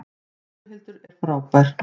Gunnhildur er frábær.